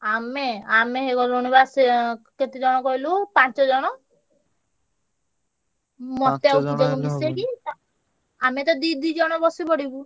ଆମେ ଆମେ ହେଇଗଲୁଣି ବା ସେ କେତେ ଜଣ କହିଲୁ ପାଞ୍ଚ ଜଣ। ମତେ ଆଉ ପୂଜାକୁ ମିଶେଇକି ଆମେ ତ ଦି ଦି ଜଣ ବସିପଡ଼ିବୁ।